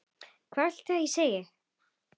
Hvað viltu ég segi?